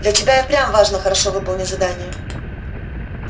для тебя и впрямь важно хорошо выполнить задание